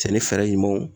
Cɛnni fɛɛrɛ ɲumanw